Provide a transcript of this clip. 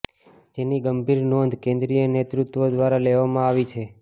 જેની ગંભીર નોંધ કેન્દ્રીય નેતૃત્વ દ્વારા લેવામા આવી છે